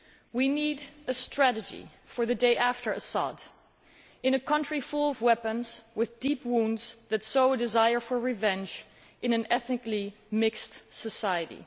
We need a strategy for the day after Assad in a country full of weapons, with deep wounds, where there is such a desire for revenge in an ethnically mixed society.